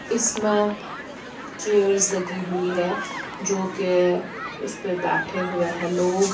इसमे चेयर्स लगी हुए है जो की उसपे बैठे हुए है लोग--